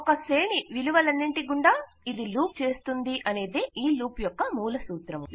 ఒక శ్రేణి విలువలన్నింటి గుండా ఇది లూప్ చేస్తుందనేదే ఈ లూప్ యొక్క మూల సూత్రము